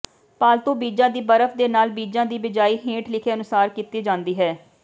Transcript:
ਪਾਲਤੂ ਬੀਜਾਂ ਦੀ ਬਰਫ਼ ਦੇ ਨਾਲ ਬੀਜਾਂ ਦੀ ਬਿਜਾਈ ਹੇਠ ਲਿਖੇ ਅਨੁਸਾਰ ਕੀਤੀ ਜਾਂਦੀ ਹੈ